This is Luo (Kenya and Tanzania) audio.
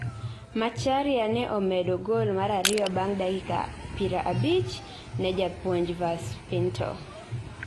Macharia ne omedo gol mar ariyo bang dakika pira abich ne Japuonj Vaz Pinto